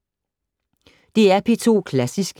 DR P2 Klassisk